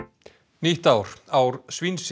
nýtt ár ár